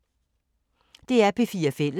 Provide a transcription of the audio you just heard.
DR P4 Fælles